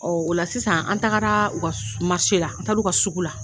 Ɔ o la sisan an taara ma se la an taara u ka sugu la